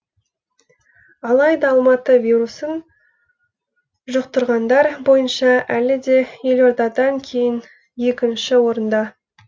алайда алматы вирусын жұқтырғандар бойынша әлі де елордадан кейін екінші орында